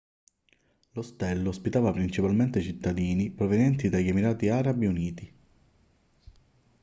l'ostello ospitava principalmente cittadini provenienti dagli emirati arabi uniti